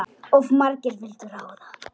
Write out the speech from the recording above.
Of margir vildu ráða.